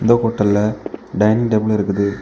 இந்த ஹோட்டல்ல டைனிங் டேபிலும் இருக்குது.